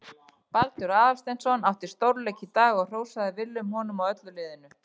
Baldur Aðalsteinsson átti stórleik í dag og hrósaði Willum honum og öllu liðinu.